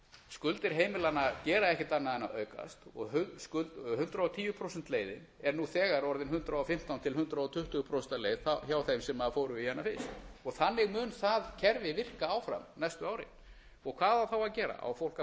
skuldir heimilanna gera ekkert annað en að aukast og hundrað og tíu prósenta leiðin er nú þegar orðin hundrað og fimmtán til hundrað tuttugu prósent hjá þeim sem fóru í hana fyrst þannig mun það kerfi virka áfram næstu árin hvað á þá að gera á fólk að